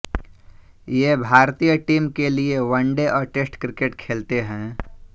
ये भारतीय टीम के लिए वनडे और टेस्ट क्रिकेट खेलते हैं